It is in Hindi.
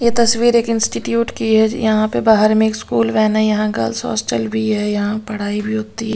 ये तस्वीर एक इंस्टीट्यूट की है यहाँ पे बाहर में एक स्कूल वैन है यहाँ गर्ल्स हॉस्टल भी है यहाँ पढ़ाई भी होती --